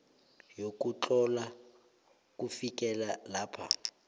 yokutlhala kufikela lapha